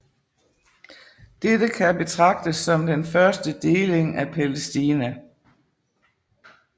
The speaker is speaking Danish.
Dette kan betragtes som den første deling af Palæstina